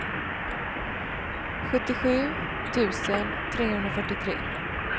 sjuttiosju tusen trehundrafyrtiotre